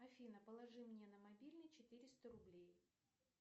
афина положи мне на мобильный четыреста рублей